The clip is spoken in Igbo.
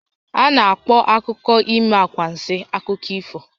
A na-akpọ akụkọ ime anwansi akụkọ ifo